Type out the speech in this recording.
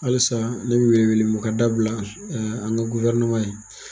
Halisa ne bi wele wele mun o ka dabila an ka gufɛrɛneman ye.